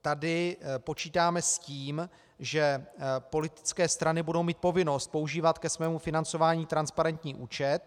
Tady počítáme s tím, že politické strany budou mít povinnost používat ke svému financování transparentní účet.